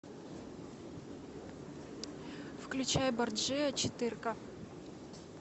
включай борджиа четырка